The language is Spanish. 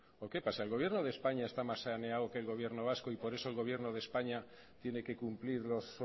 o qué pasa el gobierno de españa está más saneado que el gobierno vasco y por eso el gobierno de españa tiene que cumplir los